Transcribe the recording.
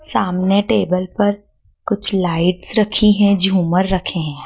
सामने टेबल पर कुछ लाइट रखी है झूमर रखे हैं।